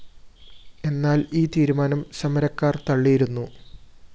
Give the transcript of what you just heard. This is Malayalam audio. എന്നാല്‍ ഈ തീരുമാനം സമരക്കാര്‍ തള്ളിയിരുന്നു